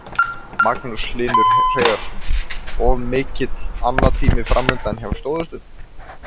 Magnús Hlynur Hreiðarsson: Og mikill annatími framundan hjá stóðhestunum?